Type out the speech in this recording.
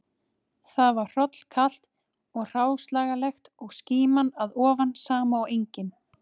Þar var hrollkalt og hráslagalegt og skíman að ofan sama og engin